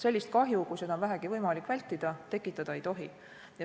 Sellist kahju, kui seda on vähegi võimalik vältida, tekitada ei tohi.